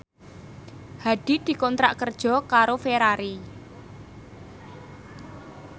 Hadi dikontrak kerja karo Ferrari